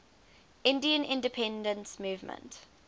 indian independence movement